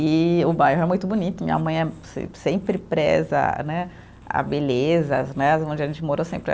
E o bairro é muito bonito, minha mãe é se sempre preza né, a beleza, as né, onde a gente mora sempre.